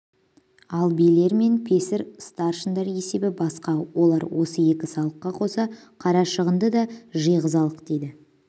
ал билер мен песір старшындар есебі басқа олар осы екі салыққа қоса қарашығынды да жиғызалық дейді